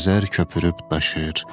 Xəzər köpürüb daşır,